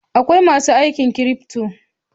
Akwai masu aikin cryfto.